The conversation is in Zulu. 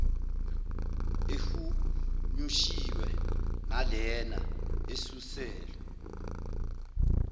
ehunyushiwe nalena esuselwe